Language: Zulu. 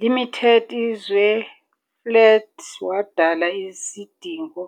Limited izwe flat wadala isidingo